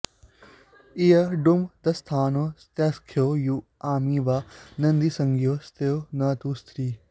इयङुवङ्स्थानौ स्त्र्याख्यौ यू आमि वा नदीसंज्ञौ स्तो न तु स्त्री